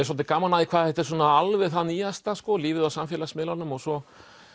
svolítið gaman hvað þetta er alveg það nýjasta lífið á samfélagsmiðlunum og svo